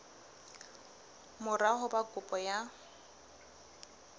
mora ho ba kopo ya